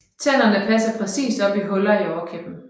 Tænderne passer præcist op i huller i overkæben